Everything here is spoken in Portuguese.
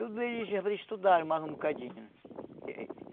Tudo isso ia para estudar mais um bocadinho.